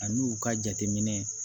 Ani u ka jateminɛ